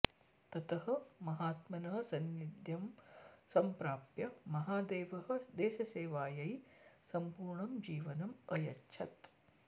ततः महात्मनः सान्निध्यं सम्प्राप्य महादेवः देशसेवायै सम्पूर्णं जीवनम् अयच्छत्